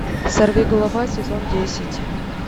сорвиголова сезон десять